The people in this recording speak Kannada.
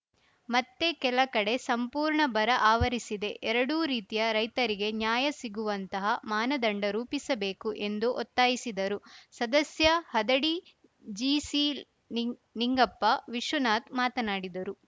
ಮತ್ತೆ ಕೆಲ ಕಡೆ ಸಂಪೂರ್ಣ ಬರ ಆವರಿಸಿದೆ ಎರಡೂ ರೀತಿಯ ರೈತರಿಗೆ ನ್ಯಾಯ ಸಿಗುವಂತಹ ಮಾನದಂಡ ರೂಪಿಸಬೇಕು ಎಂದು ಒತ್ತಾಯಿಸಿದರು ಸದಸ್ಯ ಹದಡಿ ಜಿಸಿನಿಂ ನಿಂಗಪ್ಪ ವಿಶ್ವನಾಥ್ ಮಾತನಾಡಿದರು